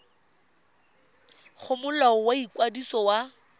go molao wa ikwadiso wa